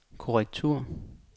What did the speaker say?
korrektur